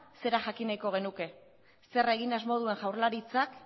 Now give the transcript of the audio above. zera jakin nahiko genuke zer egin asmo duen jaurlaritzak